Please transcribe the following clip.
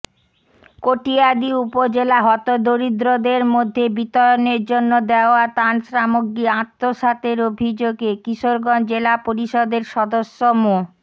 কটিয়াদী উপজেলায় হতদরিদ্রদের মধ্যে বিতরণের জন্য দেওয়া ত্রাণসামগ্রী আত্মসাতের অভিযোগে কিশোরগঞ্জ জেলা পরিষদের সদস্য মো